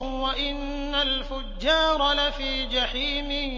وَإِنَّ الْفُجَّارَ لَفِي جَحِيمٍ